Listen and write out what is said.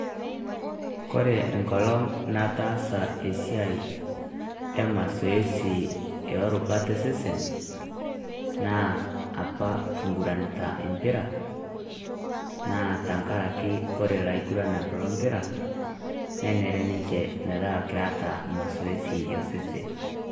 Kore enkolong nataasa esiai e mosoesi e rubaat e sesen, naa apa king'uranita empira. Naa tang'araki kore laing'uranak lo mpira nenere ninche meeta keeta masoesi e sesen.